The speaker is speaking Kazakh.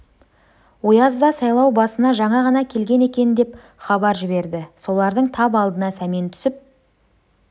ояз да сайлау басына жаңа ғана келген екен деп хабар жіберді солардың тап алдына сәмен түсіп